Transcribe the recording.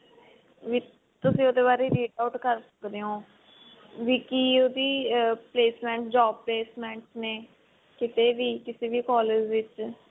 ਵੀ ਤੁਸੀਂ ਉਹਦੇ ਬਾਰੇ read out ਕਰ ਸਕਦੇ ਹੋ ਵੀ ਕਿ ਉਹਦੀ placement job placement ਨੇ ਕਿਤੇ ਵੀ ਕਿਤੇ ਵੀ collage ਦੇ ਵਿੱਚ